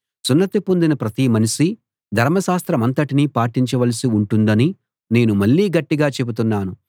సున్నతి పొందిన ప్రతి మనిషీ ధర్మశాస్త్రమంతటినీ పాటించవలసి ఉంటుందని నేను మళ్ళీ గట్టిగా చెబుతున్నాను